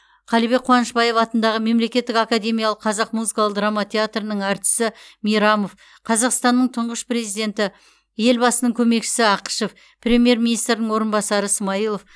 қалыбек қуанышбаев атындағы мемлекеттік академиялық қазақ музыкалық драма театрының әртісі мейрамов қазақстанның тұңғыш президенті елбасының көмекшісі ақышев премьер министрдің орынбасары смайылов